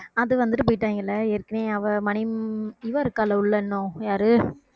அது வந்துட்டு போயிட்டாங்கல ஏற்கனவே அவ மணிம்~ இவள் இருக்காலே உள்ள இன்னும் யாரு